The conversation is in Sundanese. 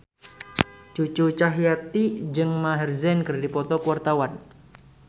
Cucu Cahyati jeung Maher Zein keur dipoto ku wartawan